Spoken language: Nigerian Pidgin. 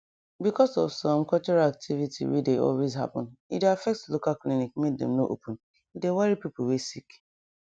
because of some cultural activity wey dey always happen e dey affect local clinic make dem no open e dey worry pipu wey sick